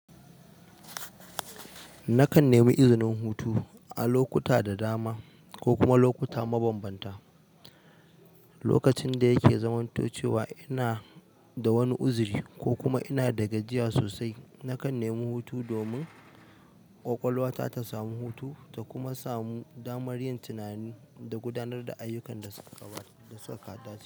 Nakan nemi izinin hutu a lokuta da dama ko kuma lokuta mabambanta. Lokacin da yake zamanto cewa ina da wani uzuri ko kuma ina da gajiya sosai, nakan nemi hutu domin ƙwaƙwalwata ta samu hutu ta kuma samu damar yin tunani da gudanar da ayyukan da suka dace.